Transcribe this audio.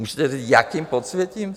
Můžete říct, s jakým podsvětím?